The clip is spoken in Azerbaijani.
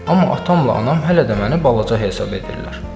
Amma atamla anam hələ də məni balaca hesab edirlər.